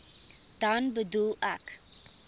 dan bedoel ek